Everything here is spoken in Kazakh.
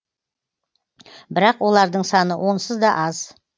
бірақ олардың саны онсыз да аз